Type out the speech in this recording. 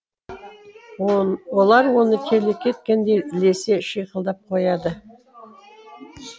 олар оны келеке еткендей ілесе шиқылдап қояды